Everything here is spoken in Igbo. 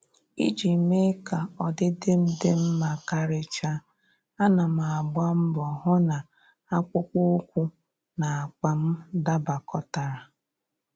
Iji mee ka ọdịdị m dị mma karịcha, ana m agba mbọ hụ na akpụkpọ ụkwụ na akpa m dabakọtara